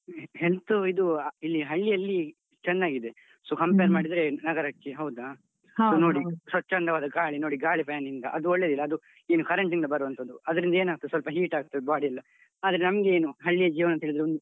Health ಆಹ್ ಇದು ಇಲ್ಲಿ ಹಳ್ಳಿಯಲ್ಲಿ ಚೆನ್ನಾಗಿದೆ so compare ಮಾಡಿದ್ರೆ ನಗರಕ್ಕೆ ಹೌದ? ನೋಡಿ, ಸ್ವಚ್ಛಂದವಾಗಿ ಗಾಳಿ, ನೋಡಿ ಗಾಳಿ fan ನಿಂದ ಅದು ಒಳ್ಳೇದಿಲ್ಲ. ಅದು ಏನು current ಇಂದ ಬರುವಂತದ್ದು. ಅದ್ರಿಂದ ಏನಾಗ್ತದೆ, ಸ್ವಲ್ಪ heat ಆಗ್ತದೆ body ಎಲ್ಲ ಆದ್ರೆ ನಮ್ಗೇನು ಹಳ್ಳಿ ಜೀವನ ಅಂತೇಳಿದ್ರೆ,